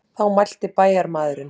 Þá mælti bæjarmaðurinn.